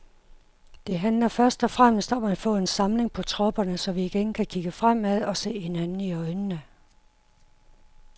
Det handler først og fremmest om at få samling på tropperne, så vi igen kan kigge fremad og se hinanden i øjnene.